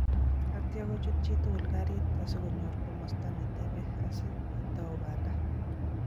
Atia kochut chitukul karit asikonyor komasta netebee, asaa aketou banda